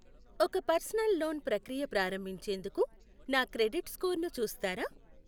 ఒక personal loan ప్రక్రియ ప్రారంభించేందుకు నా క్రెడిట్ స్కోరును చూస్తారా?